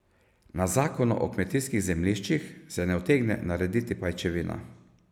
Na zakonu o kmetijskih zemljiščih se ne utegne narediti pajčevina.